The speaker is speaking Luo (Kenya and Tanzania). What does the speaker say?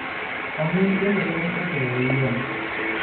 Ong'in bende konyo e keyo yien.